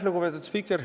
Lugupeetud spiiker!